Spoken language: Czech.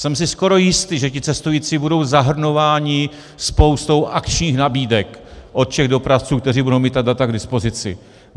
Jsem si skoro jistý, že ti cestující budou zahrnováni spoustou akčních nabídek od všech dopravců, kteří budou mít ta data k dispozici.